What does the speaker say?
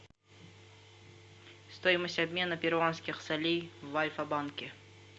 стоимость обмена перуанских солей в альфа банке